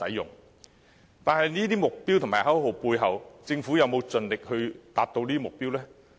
然而，在這些目標和口號背後，政府有否盡力達標呢？